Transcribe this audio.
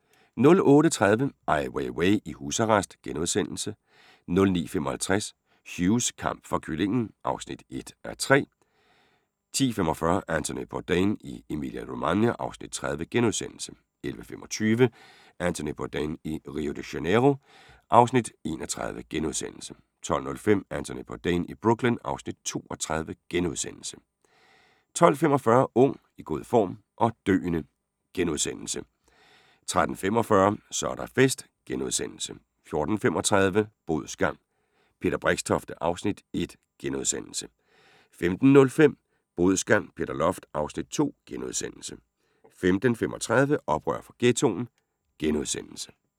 08:30: Ai Weiwei i husarrest * 09:55: Hughs kamp for kyllingen (1:3) 10:45: Anthony Bourdain i Emilia-Romagna (Afs. 30)* 11:25: Anthony Bourdain i Rio de Janeiro (Afs. 31)* 12:05: Anthony Bourdain i Brooklyn (Afs. 32)* 12:45: Ung, i god form – og døende! * 13:45: Så er der fest! * 14:35: Bodsgang – Peter Brixtofte (Afs. 1)* 15:05: Bodsgang - Peter Loft (Afs. 2)* 15:35: Oprør fra Ghettoen *